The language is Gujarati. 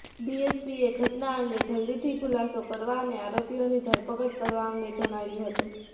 ડીએસપીએ ઘટના અંગે જલ્દીથી ખુલાસો કરવા અને આરોપીઓની ધરપકડ કરવા અંગે જણાવ્યું હતું